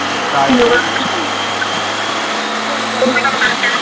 ਉਹ ਭੋਲੂ